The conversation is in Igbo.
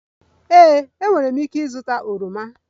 Ee, enwere m ike ịzụta oroma